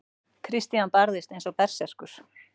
Christian barðist eins og berserkur.